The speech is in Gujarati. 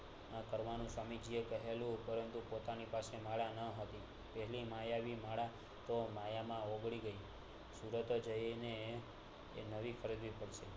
આ કરવાનું સવામીજીએ કહેલું પરંતુ પોતાની પાસે માળા ન હતી તેની માયાવી માળા માયા માં હોંગડી ગયી સુરત જયીને એ નવી ખરીદવીપડશે